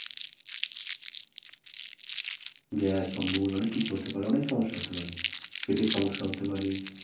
gas অম্বল অনেক কিছু হতে পারে অনেক সমস্যা হতে পারে পিটার সমস্যা হতে পারে